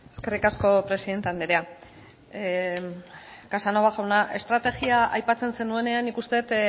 eskerrik asko presidente andrea casanova jauna estrategia aipatzen zenuenean nik uste dut